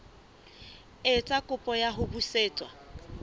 etsa kopo ya ho busetswa